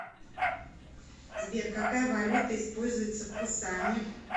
сбер какая валюта используется в пусане